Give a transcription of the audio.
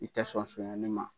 I tɛ sɔn sonyɛli ma.